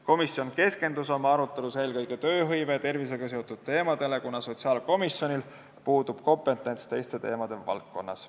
Komisjon keskendus oma arutelus eelkõige tööhõive ja tervisega seotud teemadele, kuna sotsiaalkomisjonil puudub kompetents teistes valdkondades.